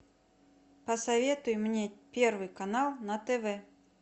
посоветуй мне первый канал на тв